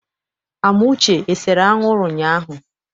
Amuche esere anwụrụ ụnyaahụ?